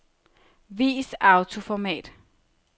Vis autoformat.